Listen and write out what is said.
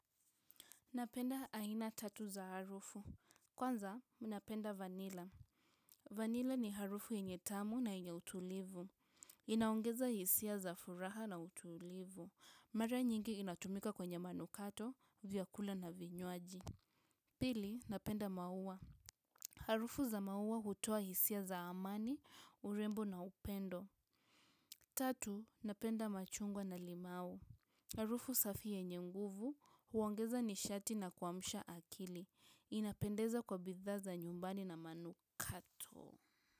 Napenda aina tatu za harufu. Kwanza, napenda vanila. Vanila ni harufu yenye tamu na yenye utulivu. Inaongeza hisia za furaha na utulivu. Mare nyingi inatumika kwenye manukato, vyakula na vinywaji. Pili, napenda maua. Harufu za maua hutoa hisia za amani, urembo na upendo. Tatu, napenda machungwa na limau. Harufu safi yenye nguvu huongeza nishati na kuamsha akili. Inapendeza kwa bidhaa za nyumbani na manukato.